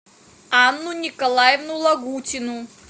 анну николаевну лагутину